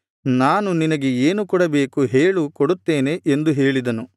ನಾನು ನಿನಗೆ ಏನು ಕೊಡಬೇಕು ಹೇಳು ಕೊಡುತ್ತೇನೆ ಎಂದು ಹೇಳಿದನು